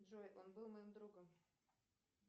джой он был моим другом